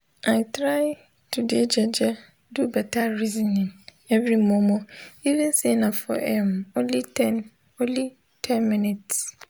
i try to de jeje do beta resonin everi momo even say nah for erm only ten only ten mins